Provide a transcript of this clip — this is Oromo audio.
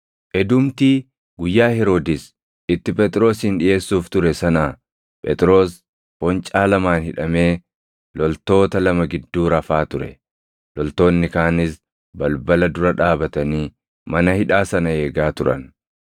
Edumtii guyyaa Heroodis itti Phexrosin dhiʼeessuuf ture sanaa Phexros foncaa lamaan hidhamee loltoota lama gidduu rafaa ture; loltoonni kaanis balbala dura dhaabatanii mana hidhaa sana eegaa turan.